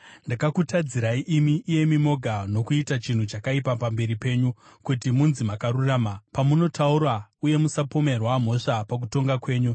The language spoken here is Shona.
Ndakakutadzirai imi, iyemi moga nokuita chinhu chakaipa pamberi penyu, kuti munzi makarurama pamunotaura uye musapomerwa mhosva pakutonga kwenyu.